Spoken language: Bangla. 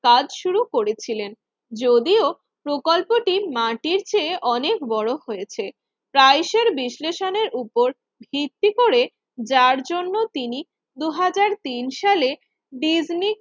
কাজ শুরু করেছিলেন। যদিও প্রকল্পটি মাটির চেয়ে অনেক বড় হয়েছে ট্রাইসের বিশ্লেষণের উপর ভিত্তি করে যার জন্য তিনি দুই হাজার সালে ডিজনি